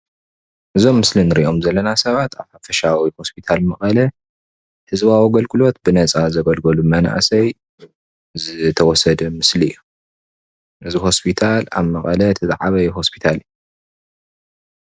እዚ ኣብ ምሰሊ እንሪኦም ዘለና ሰባት ሓፈሻዊ ሆስፒታል መቐለ ህዝባዊ ኣገልግሎት ብነፃ ዘገልግልሉ መናእሰይ ዝተወሰደ ምስሊ እዩ፡፡ ነዚ ሆስፒታል ኣብ መቐለ እቲ ዝዓበየ ሆስፒታል እዩ፡፡